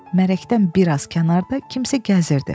Mərəkdən bir az kənarda kimsə gəzirdi.